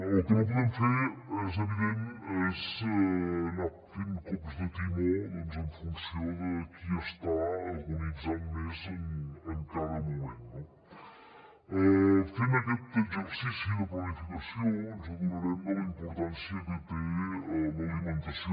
el que no podem fer és evident és anar fent cops de timó doncs en funció de qui està agonitzant més en cada moment no fent aquest exercici de planificació ens adonarem de la importància que té l’alimentació